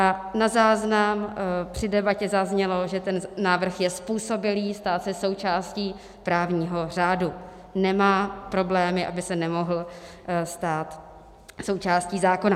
A na záznam při debatě zaznělo, že ten návrh je způsobilý stát se součástí právního řádu, nemá problémy, aby se nemohl stát součástí zákona.